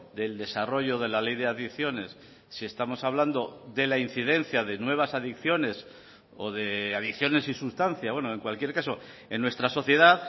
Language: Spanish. del desarrollo de la ley de adicciones si estamos hablando de la incidencia de nuevas adicciones o de adicciones y sustancia en cualquier caso en nuestra sociedad